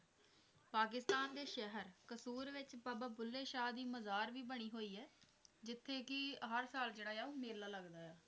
ਪਾਕਿਸਤਾਨ ਦੇ ਸ਼ਹਿਰ ਕਸੂਰ ਵਿੱਚ ਬਾਬਾ ਬੁੱਲੇ ਸ਼ਾਹ ਦੀ ਮਜ਼ਾਰ ਵੀ ਬਣੀ ਹੋਈ ਐ, ਜਿੱਥੇ ਕੀ ਹਰ ਸਾਲ ਜਿਹੜਾ ਆ ਮੇਲਾ ਲਗੱਦਾ ਆ।